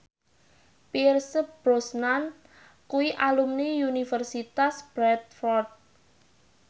Pierce Brosnan kuwi alumni Universitas Bradford